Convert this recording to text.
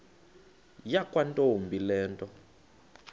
yakwantombi le nto